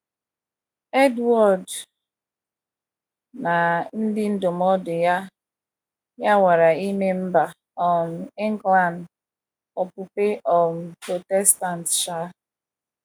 Edward na ndị ndụmọdụ ya ya nwara ime mba um England okpukpe um Protestant. um